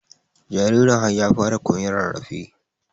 jaririn har ya fara koyan rarrafe